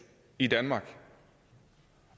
i danmark